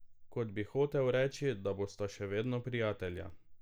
Kot bi hotel reči, da bosta še vedno prijatelja.